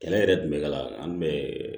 Kɛlɛ yɛrɛ dun bɛ ka an bɛ